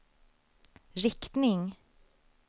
riktning